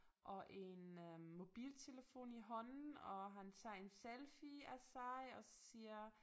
Og en øh mobiltelefon i hånden og han tager en selfie af sig og siger